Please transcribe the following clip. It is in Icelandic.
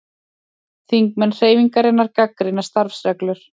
Þingmenn Hreyfingarinnar gagnrýna starfsreglur